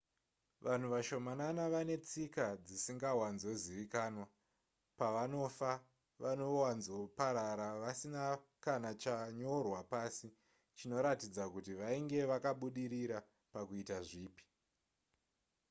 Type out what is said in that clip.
vanhu vashomanana vane tsika dzisingawanzozivikanwa pavanofa vanowanzoparara vasina kana chanyorwa pasi chinoratidza kuti vainge vakabudirira pakuita zvipi